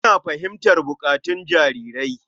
Ina fahimtar buƙatun jarirai.